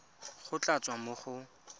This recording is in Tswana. go tla tswa mo go